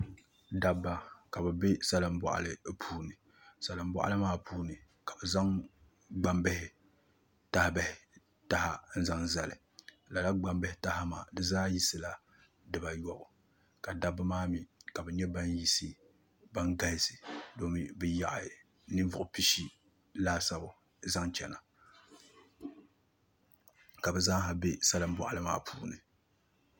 Dabba ka bi bɛ salin boɣali puuni salin boɣali maa puuni ka bi zaŋ gbambihi taha n zali lala gbambihi taha maa di zaa yisila dibayobu ka dabba maa mii ka bi nyɛ ban galisi domi bi yaɣa ninvuɣu pishi laasabu zaŋ chɛna ka bi zaa ha bɛ salin boɣali maa puuni